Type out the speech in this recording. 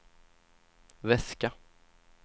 väska